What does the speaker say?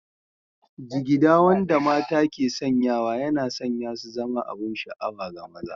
Jigida wanda mata ke sanyawa yana sanya su zama abin sha'awa ga maza